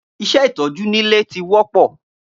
Iṣẹ́ ìtọ́jú nílé ti wọ́pọ́